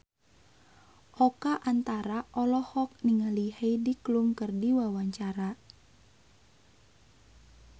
Oka Antara olohok ningali Heidi Klum keur diwawancara